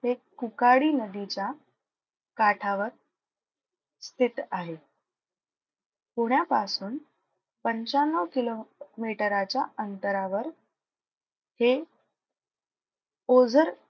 ते कुकाडी नदीच्या काठावर स्थित आहे. पुण्यापासून पंच्याण्णव किलोमीटराच्या अंतरावर हे ओझर,